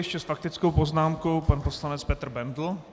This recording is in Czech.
Ještě s faktickou poznámkou pan poslanec Petr Bendl.